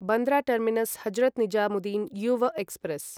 Bandra terminus Hazrat Nizamuddin Yuva express